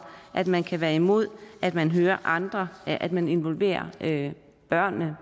at man kan være imod at man hører andre at man involverer børnene